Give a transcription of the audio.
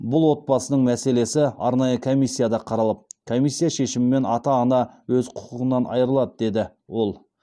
бұл отбасының мәселесі арнайы комиссияда қаралып комиссия шешімімен ата ана өз құқығынан айырылады деді ол